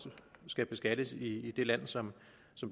skal beskattes i det land som